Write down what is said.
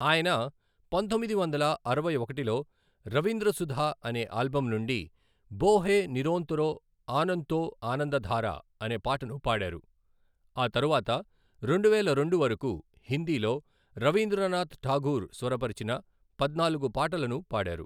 ఆయన పంతొమ్మిది వందల అరవై ఒకటిలో రవీంద్ర సుధ అనే ఆల్బమ్ నుండి 'బోహే నిరోంతరో ఆనంతో ఆనందధారా' అనే పాటను పాడారు, ఆ తరువాత రెండువేల రెండు వరకు హిందీలో రవీంద్రనాథ్ ఠాగూర్ స్వరపరిచిన పద్నాలుగు పాటలను పాడారు.